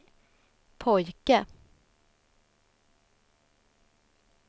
pojke